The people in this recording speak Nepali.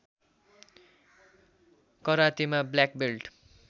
करातेमा ब्ल्याक बेल्ट